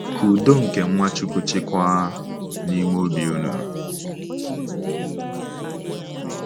“Ka udo nke Nwachukwu chịkwaa n’ime obi unu.